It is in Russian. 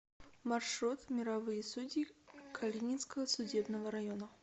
маршрут мировые судьи калининского судебного района